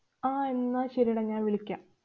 ആഹ് എന്നാ ശരിയെടാ. ഞാന്‍ വിളിക്കാം.